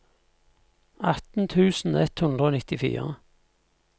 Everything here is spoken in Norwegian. atten tusen ett hundre og nittifire